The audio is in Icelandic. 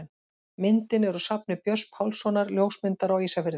Myndin er úr safni Björns Pálssonar, ljósmyndara á Ísafirði.